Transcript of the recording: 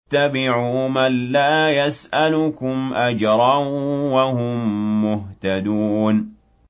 اتَّبِعُوا مَن لَّا يَسْأَلُكُمْ أَجْرًا وَهُم مُّهْتَدُونَ